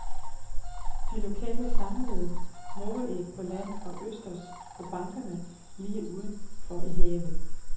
De lokale samlede mågeæg på land og østers på bankerne lige uden for i havet.